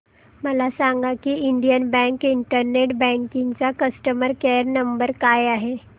मला सांगा की इंडियन बँक इंटरनेट बँकिंग चा कस्टमर केयर नंबर काय आहे